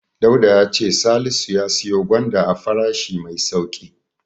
Dauda ya ce Salisu ya siyo gwanda a farashi mai sauƙi.